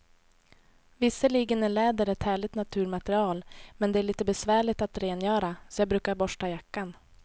Visserligen är läder ett härligt naturmaterial, men det är lite besvärligt att rengöra, så jag brukar borsta jackan.